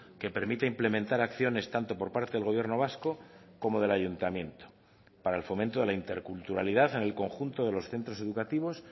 que permita implementar acciones tanto por parte del gobierno vasco como del ayuntamiento para el fomento de la interculturalidad en el conjunto de los centros educativos